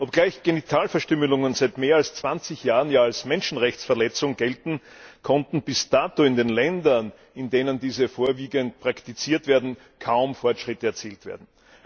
Obgleich Genitalverstümmelungen seit mehr als 20 Jahren als Menschenrechtsverletzung gelten, konnten bis dato in den Ländern, in denen diese vorwiegend praktiziert werden, kaum Fortschritte erzielt werden.